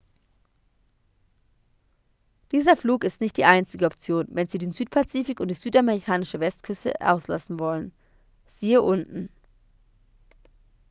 dieser flug ist nicht die einzige option wenn sie den südpazifik und die südamerikanische westküste auslassen wollen. siehe unten